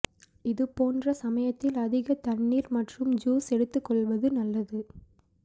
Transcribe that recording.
இது போன்ற சமயத்தில் அதிக தண்ணீர் மற்றும் ஜூஸ் எடுத்துக்கொள்வது நல்லது